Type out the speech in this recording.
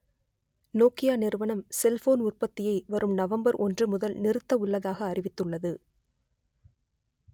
Nokia நிறுவனம் cellphone உற்பத்தியை வரும் நவம்பர் ஒன்று முதல் நிறுத்த உள்ளதாக அறிவித்துள்ளது